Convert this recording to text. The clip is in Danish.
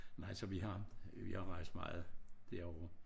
Nej så vi har vi har rejst meget derovre